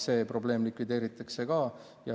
See probleem likvideeritakse.